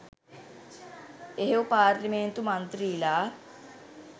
එහෙව් පාර්ලිමේන්තු මන්ත්‍රීලා